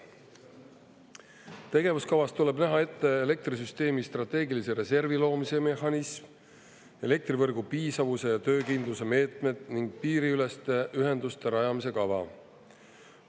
Tegevuskavas tuleb näha ette elektrisüsteemi strateegilise reservi loomise mehhanism, elektrivõrgu piisavuse ja töökindluse meetmed ning piiriüleste ühenduste rajamise kava.